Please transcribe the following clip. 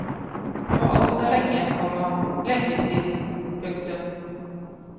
Og alt er lenge, komma lenge siden. punktum